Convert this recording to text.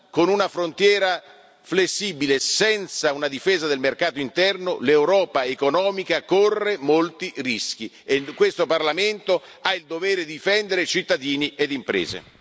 Con una frontiera flessibile e senza una difesa del mercato interno l'Europa economica corre molti rischi e questo Parlamento ha il dovere di difendere cittadini e imprese.